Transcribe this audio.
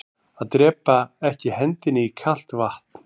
Að drepaa ekki hendinni í kalt vatn